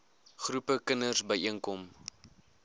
groepe kinders byeenkom